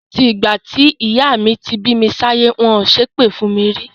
Láti ìgbà tí ìyá mi ti bí mi sáyé, wọn ò ṣépè fún mi rí.